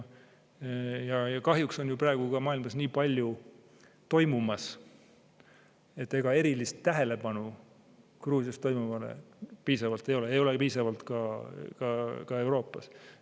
Kahjuks on praegu maailmas nii palju toimumas, et ega erilist tähelepanu Gruusias toimuvale ei ole, piisavalt ei ole seda ka Euroopas.